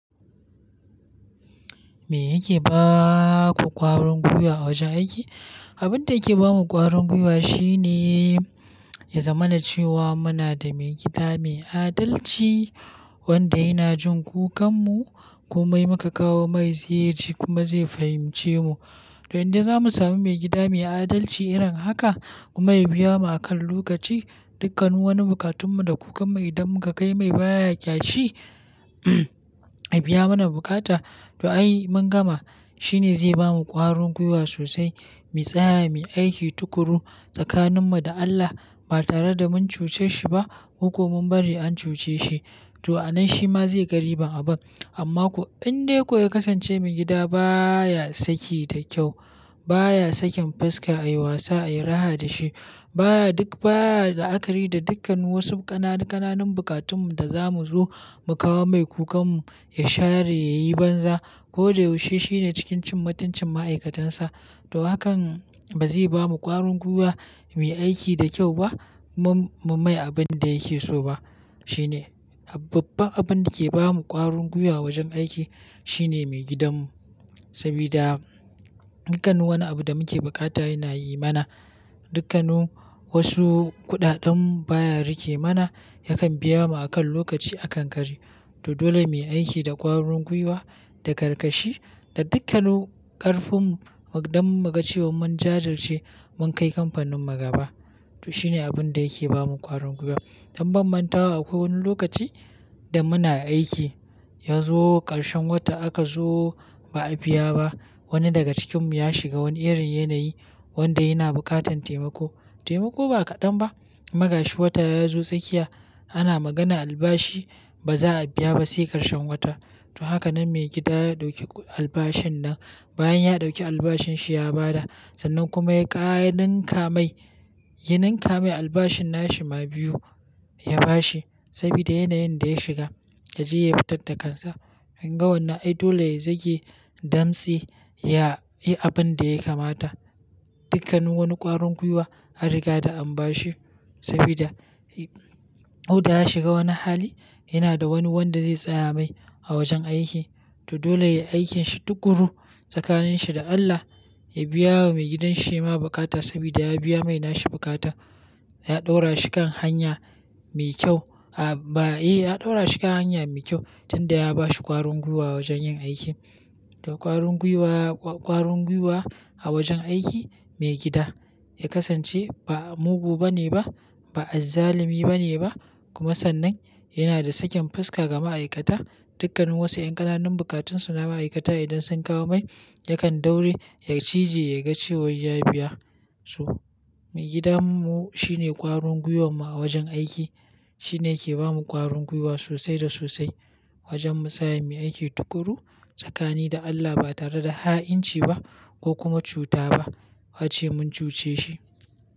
Me yake ba ku ƙwarin gwiwa a wajen aiki? Abin da yake ba mu ƙwarin gwiwa shine, ya zama na cewa muna da maigida mai adalci wanda yana jin kukan mu komai mu ka kawo mai zai ji kuma zai fahimce mu. To in dai za mu sami maigida mai adalci irin haka kuma ya biya mu akan lokaci, dukkanin wani buƙatun mu da kukan mu idan muka kai mai baya ƙyashi, ya biya mana bukata to ai mun gama. Shi ne zai bamu ƙwarin gwiwa sosai, mu tsaya, mu yi aiki tuƙuru tsakanin mu da Allah ba tare da mun cuce shi ba ko kwa mun bari an cuce shi. To a nan shi ma zai ga riban abun. Amma ko in dai ko ya kasance maigida baya saki da kyau, baya sakin fuska a yi wasa, a yi raha da shi, baya duk, baya la'akari da dukkan wasu ƙananu-ƙananun buƙatun mu da za mu zo mu kawo mai kukan mu, ya share, ya yi banza ko da yaushe shi ne cikin cin mutuncin ma'aikatan sa. To hakan ba zai bamu ƙwarin gwiwa mai aiki da kyau ba. Mu mai abin da yake so ba. Shi ne babbar abin da yake ba mu ƙwarin gwiwa a wajen aiki, shine maigidan mu. Saboda dukkanin wani abu da muke buƙata yana yi mana, dukkanin wasu kuɗaɗen mu baya rike mana yakan biya mu akan lokaci akan kari. To dole mu yi aiki da ƙwarin gwiwa, da karkashi da dukkanin ƙarfin mu don mu ga cewa mun jajirce, mun kai kamfanin mu gaba. To shi ne abin da yake ba mu ƙwarin gwiwa. Don mantawa akwai wani lokaci da muna aiki, ya zo ƙarshen wata aka zo ba a biya ba. Wani daga cikin mu ya shiga wani irin yanayi wanda yana buƙatan taimako. Taimako ba kaɗan ba, magashi wata ya zo tsakiya ana magana albashi ba za a biya ba sai ƙarshen wata. To haka nan maigida ya ɗauki albashin nan bayan ya ɗauki albashin shi ya ba da. Sannan kuma ya ƙara ninka mai, ya ninka mai albashin nashi ma biyu ya ba shi saboda yanayin da ya shiga, ya je ya fitar da kansa. Kin ga wannan ai dole ya zage dansi, ya yi abin da ya kamata. Dukkanin wani ƙwarin gwiwa an riga da an ba shi saboda ko da ya shiga wani hali, yana da wani wanda zai tsaya mai a wajen aiki. To dole yayi aikin shi tuƙuru tsakanin shi da Allah, ya biya wa maigidan shi shi ma buƙata saboda ya biya mai na shi bukata. Ya ɗaura shi kan hanya mai kyau, a ba, eh ya ɗaura shi kan hanya mai kyau tun da ya ba shi ƙwarin gwiwa wajen yin aiki. To ƙwarin gwiwa, ƙwa-ƙwarin gwiwa a wajen aiki, maigida ya kasance ba mugu bane ba, ba azzalumi bane ba kuma sannan yana da sakin fuska ga ma'aikata. Dukkanin wasu ƴan ƙananun buƙatun su na ma'aikata idan sun kawo mai, yakan daure ya cije ya ga cewa ya biya su. Maigidan mu shine ƙwarin gwiwan mu a wajen aiki. Shi ne yake ba mu ƙwarin gwiwa sosai da sosai wajen mu tsaya mu yi aiki tuƙuru tsakanin da Allah ba tare da ha'inci ba ko kuma cuta ba, ace mun cuce shi.